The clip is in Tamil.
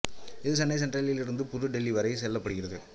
இது சென்னை சென்ட்ரலில் இருந்து புது டெல்லி வரை செயல்படுகிறது